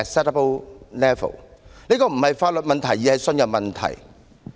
這不是法律問題而是信任問題......